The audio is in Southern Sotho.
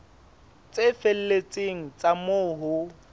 tse felletseng tsa moo ho